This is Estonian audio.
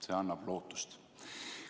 See annab lootust.